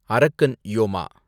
அரக்கன் யோமா